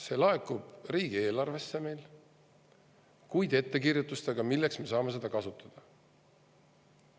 See laekub meil riigieelarvesse, kuid ettekirjutustega, milleks me saame seda kasutada.